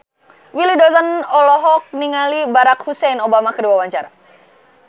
Willy Dozan olohok ningali Barack Hussein Obama keur diwawancara